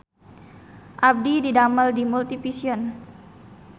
Abdi didamel di Multivision